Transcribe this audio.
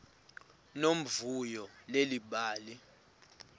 nomvuyo leli bali